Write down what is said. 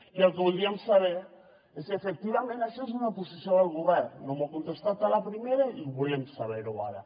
i el que voldríem saber és si efectivament això és una posició del govern no m’ho ha contestat a la primera i ho volem saber ara